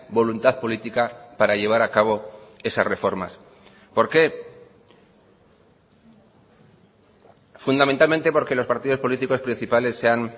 voluntad política para llevar a cabo esas reformas por qué fundamentalmente porque los partidos políticos principales se han